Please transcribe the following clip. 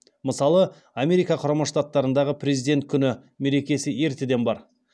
мысалы америка құрама штаттарындағы президент күні мерекесі ертеден бар